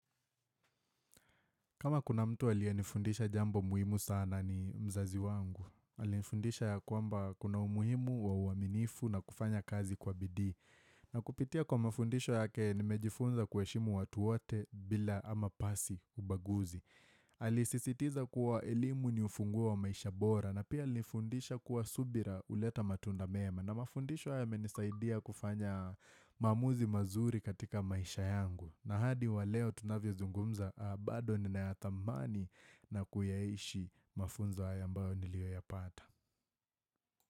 Kama kuna mtu aliyenifundisha jambo muhimu sana ni mzazi wangu. Alinifundisha ya kwamba kuna umuhimu wa uaminifu na kufanya kazi kwa bidii. Na kupitia kwa mafundisho yake nimejifunza kuheshimu watu wote bila ama pasi ubaguzi. Alisisitiza kuwa elimu ni ufunguo wa maisha bora na pia alinifundisha kuwa subira huleta matunda mema. Na mafundisho yamenisaidia kufanya maamuzi mazuri katika maisha yangu. Na hadi wa leo tunavyozungumza bado ninayathamani na kuyaeishi mafunzo haya ambayo niliyoyapata.